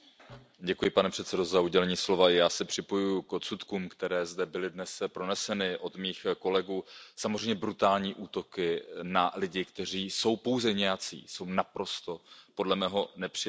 Pane předsedající, já se připojuji k odsudkům, které zde byly dnes proneseny od mých kolegů. Samozřejmě brutální útoky na lidi, kteří jsou pouze nějací, jsou podle mého naprosto nepřijatelné.